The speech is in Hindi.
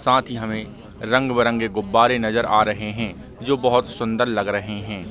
साथ ही हमे रंग बिरंगे गुब्बारे नज़र आ रहें हें जो बोहत सुन्दर लग रहें हें ।